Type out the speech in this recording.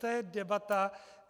To je debata.